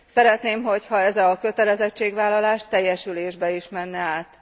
Szeretném, hogyha ez a kötelezettségvállalás teljesülésbe is menne át.